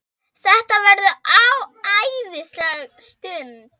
Þetta verður æðisleg stund.